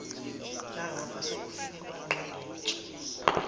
nangapha sekufikwe kwangqingetshe